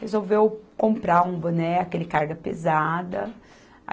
Resolveu comprar um boné, aquele carga pesada.